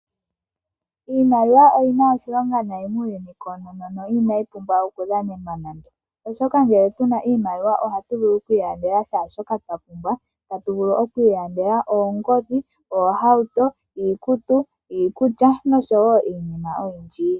Iimaliwa oyina oshilonga nayi muuyuni koonono no inayi pumbwa okudhanena nande. Oshoka ngele tuna iimaliwa ohatu vulu oku ilandela shaashoka twa pumbwa. Otatu vulu oku ilandela oongodhi, oohauto, iikutu, iikulya noshowo iinima oyindji.